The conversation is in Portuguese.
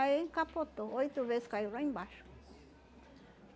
Aí capotou, oito vezes caiu lá embaixo.